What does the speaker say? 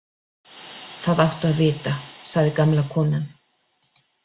Það áttu að vita, sagði gamla konan.